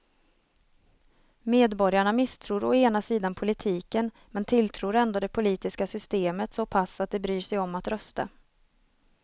Medborgarna misstror å ena sidan politiken men tilltror ändå det politiska systemet så pass att de bryr sig om att rösta.